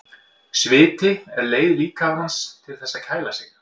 Sviti er leið líkamans til þess að kæla sig.